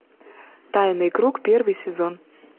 тайный круг первый сезон